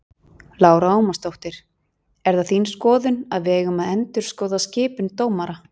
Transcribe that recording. Lára Ómarsdóttir: Er það þín skoðun að við eigum að endurskoða skipun dómara?